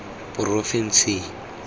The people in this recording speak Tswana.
porofenseng